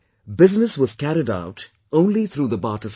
Business was carried out only through the barter system